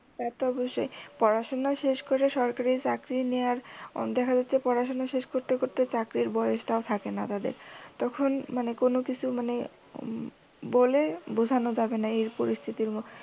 তা তো অবশ্যই। পড়াশুনা শেষ কইরে সরকারি চাকরি নেওয়ার দেখা যাচ্ছে পড়াশুনা শেষ করতে করতে চাকরির বয়সটাও থাকে না তাদের। তখন মানে কোনও কিছু মানে বলে বুঝানো যাবে না এই পরিস্থিতির মধ্যে